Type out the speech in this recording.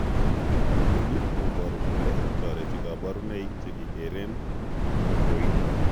Inoni kobooru kole toreti kaborunoik chekikeeren koroiton